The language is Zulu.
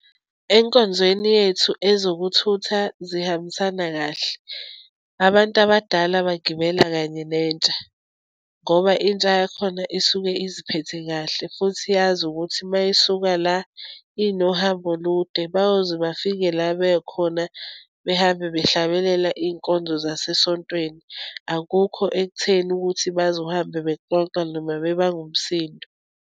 Enkonzweni yethu, ezokuthutha zihambisana kahle. Abantu abadala bagibela kanye nentsha, ngoba intsha yakhona isuke iziphethe kahle, futhi iyazi ukuthi uma isuka la, inohambo olude, bayoze bafike la bekhona, behambe behlababelela iy'nkonzo zasesontweni. Akukho ekutheni ukuthi bazohambe bexoxa, noma bebanga umsindo.